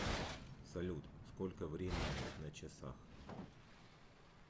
салют сколько времени на часах